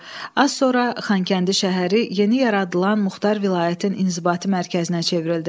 Az sonra Xankəndi şəhəri yeni yaradılan Muxtar vilayətin inzibati mərkəzinə çevrildi.